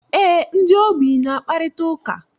Eé, ndị ogbii na-akparịta ụka.